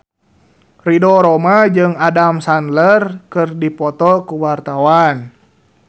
Ridho Roma jeung Adam Sandler keur dipoto ku wartawan